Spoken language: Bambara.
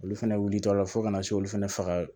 Olu fɛnɛ wulitɔla fo ka na se olu fɛnɛ faga